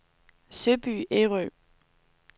Søby Ærø